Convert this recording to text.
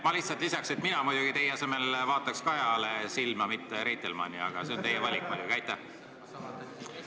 Ma lihtsalt lisan, et mina teie asemel vaataks Kajale silma, mitte Reitelmannile, aga see on muidugi teie valik.